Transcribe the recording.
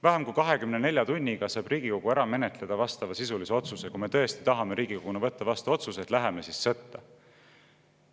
Vähem kui 24 tunniga saab Riigikogu ära menetleda vastavasisulise otsuse, kui me tõesti tahame Riigikoguna võtta vastu otsuse, et läheme siis sõtta.